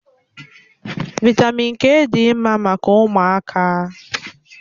Vị́tamị́n k dị mma maka ụmụaka